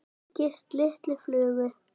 líkist lítilli flugu.